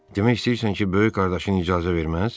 Demək istəyirsən ki, böyük qardaşın icazə verməz?